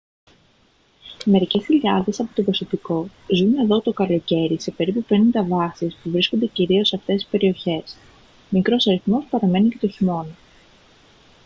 μερικές χιλιάδες από το προσωπικό ζουν εδώ το καλοκαίρι σε περίπου πενήντα βάσεις που βρίσκονται κυρίως σε αυτές τις περιοχές μικρός αριθμός παραμένει και το χειμώνα